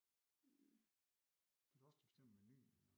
Så er det os der bestemmer menuen og